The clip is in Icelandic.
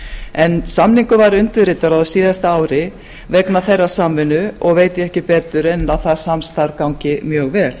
en samningur var undirritaður á síðasta ári vegna þeirrar samvinnu og veit ég ekki betur en að það samstarf gangi mjög vel